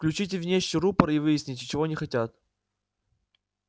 включите внешний рупор и выясните чего они хотят